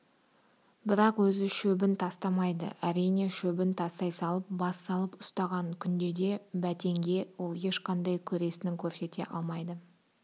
бірақ өзі шөбін тастамайды әрине шөбін тастай салып бас салып ұстаған күнде де бәтенге ол ешқандай көресінің көрсете алмайды